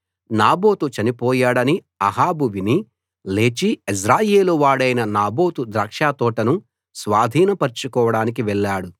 నాబోతు చనిపోయాడని అహాబు విని లేచి యెజ్రెయేలు వాడైన నాబోతు ద్రాక్షతోటను స్వాధీన పరచుకోడానికి వెళ్ళాడు